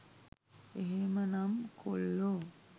එහෙමනම් කොල්ලෝ